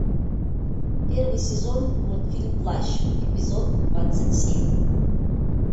первый сезон мультфильм плащ эпизод двадцать семь